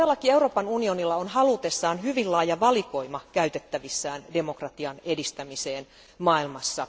Euroopan unionilla on halutessaan hyvin laaja valikoima keinoja käytettävissään demokratian edistämiseen maailmassa.